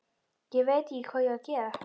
Ég veit ekki hvað ég á að gera